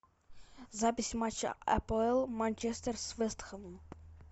запись матча апл манчестер с вест хэмом